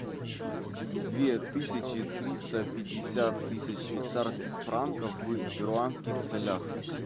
две тысячи триста пятьдесят тысяч швейцарских франков в перуанских солях